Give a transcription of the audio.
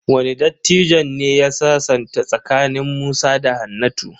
Wane dattijon ne ya sasanta tsakanin Musa da Hannatu?